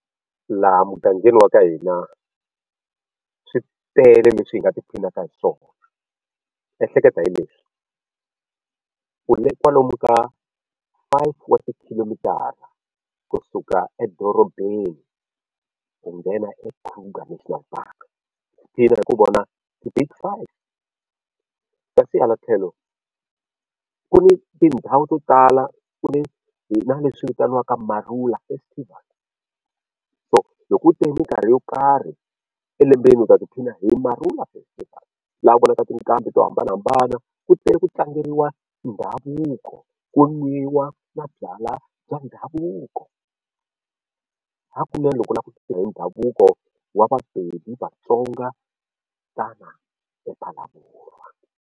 Laha mugangeni wa ka hina swi tele leswi hi nga ti phinaka hi swona ehleketa hi leswi u le kwalomu ka five wa tikhilomitara kusuka edorobeni ku nghena eKruger National Park i heta i vona the big five kasi hala tlhelo ku ni tindhawu to tala ku ni hina leswi vitaniwaka Marula Festival so hi ku yo karhi elembeni u ta ti phina hi Marula Festival laha u vonaka tinqambi to hambanahambana ku tele ku tlangeriwa ndhavuko ku nwiwa na byalwa bya ndhavuko hakunene loko u lava ku tiva hi ndhavuko wa Mabibi Vatsonga tana ePhalaborwa.